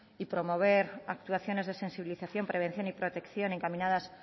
y promover actuaciones de sensibilización prevención y protección encaminadas